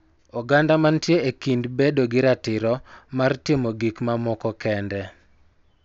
Oganda mantie e kind bedo gi ratiro mar timo gik moko kende